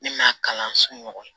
Ne m'a kalan so ɲɔgɔn